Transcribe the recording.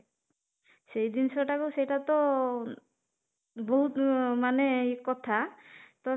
ସେଇ ଜିନିଷଟାକୁ ସେଇଟା ତ ବହୁତ ମାନେ କଥା ତ